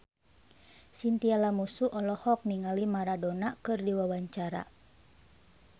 Chintya Lamusu olohok ningali Maradona keur diwawancara